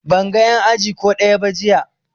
Ban ga en aji ko ɗaya ba jiya